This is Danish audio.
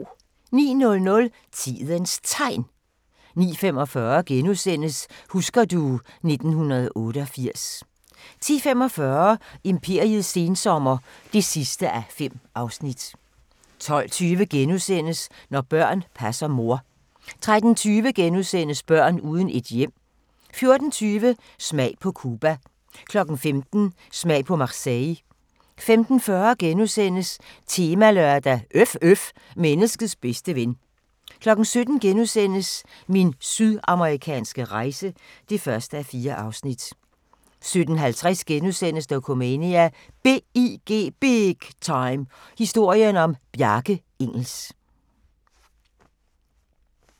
09:00: Tidens Tegn 09:45: Husker du ... 1988 * 10:45: Imperiets sensommer (5:5) 12:20: Når børn passer mor * 13:20: Børn uden et hjem * 14:20: Smag på Cuba 15:00: Smag på Marseille 15:40: Temalørdag: Øf øf – menneskets bedste ven * 17:00: Min sydamerikanske rejse (1:4)* 17:50: Dokumania: BIG Time – historien om Bjarke Ingels *